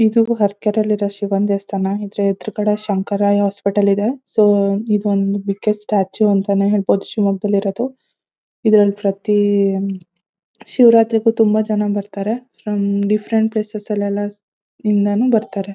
ಇದು ಅರಕೆರೆ ಲಿ ಇರೋ ಶಿವನ ದೇವಸ್ಥಾನ ಇದರಾ ಎದುರುಗಡೆ ಶಂಕರ ಐ ಹಾಸ್ಪಿಟಲ್ ಇದೆ ಸೊ ಇದೊಂದು ಬಿಗ್ಗೆಸ್ಟ್ ಸ್ಟ್ಯಾಚ್ಯು ಅಂತಾನೆ ಹೇಳ್ಬಹುದು ಶಿವಮೊಗ್ಗದಲ್ಲಿ ಇರೋದು ಇದರಲ್ಲಿ ಪ್ರತಿ ಶಿವರಾತ್ರಿಗೂ ತುಂಬಾ ಜನ ಬರ್ತ್ತಾರೆ ಫ್ರಮ್ ಡಿಫರೆಂಟ್ ಪ್ಲೇಸಸ್ ಲೆಲ್ಲ ನಿಂದನು ಬರ್ತ್ತಾರೆ.